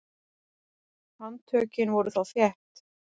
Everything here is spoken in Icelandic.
Handtökin voru þá þétt.